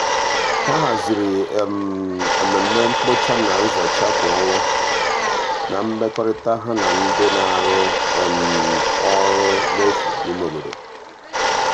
ha haziri mmemme mkpocha na nzacha kwa ọnwa na mmekọrịta ha na ndị na-arụ ọrụ n'efu n'ime obodo.